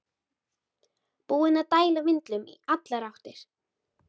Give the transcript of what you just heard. Búinn að dæla vindlum í allar áttir!